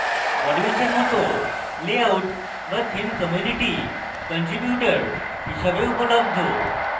modules এর মত layout বা থিম community কান্ট্রিবিউটর হিসাবেও উপলব্ধ